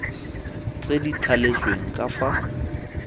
tse di thaletsweng ka fa